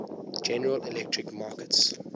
general electric markets